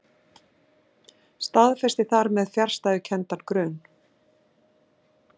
Staðfesti þar með fjarstæðukenndan grun.